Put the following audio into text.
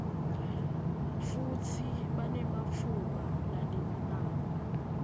futsi banematfuba lalinganako